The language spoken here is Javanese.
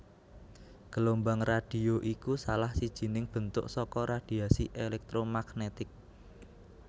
Gelombang radhio iku salah sijining bentuk saka radhiasi élèktromagnètik